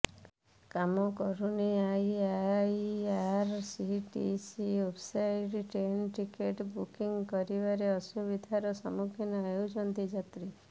କାମ କରୁନି IRCTC website train ticket booking କରିବାରେ ଅସୁବିଧାର ସମ୍ମୁଖୀନ ହେଉଛନ୍ତି ଯାତ୍ରୀ